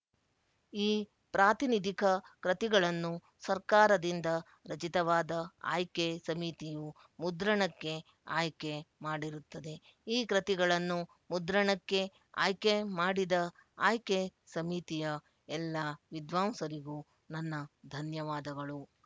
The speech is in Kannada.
ಈ ಪ್ರಾತಿನಿಧಿಕ ಕೃತಿಗಳನ್ನು ಸರ್ಕಾರದಿಂದ ರಚಿತವಾದ ಆಯ್ಕೆ ಸಮಿತಿಯು ಮುದ್ರಣಕ್ಕೆ ಆಯ್ಕೆ ಮಾಡಿರುತ್ತದೆ ಈ ಕೃತಿಗಳನ್ನು ಮುದ್ರಣಕ್ಕೆ ಆಯ್ಕೆ ಮಾಡಿದ ಆಯ್ಕೆ ಸಮಿತಿಯ ಎಲ್ಲಾ ವಿದ್ವಾಂಸರಿಗೂ ನನ್ನ ಧನ್ಯವಾದಗಳು